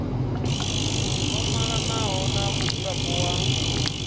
o malanaho na mudzulapo wa